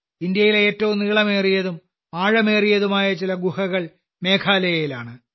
ഇന്ത്യയിലെ ഏറ്റവും നീളമേറിയതും ആഴമേറിയതുമായ ചില ഗുഹകൾ മേഘാലയയിലാണ്